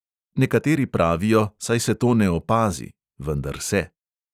Nekateri pravijo, saj se to ne opazi, vendar se.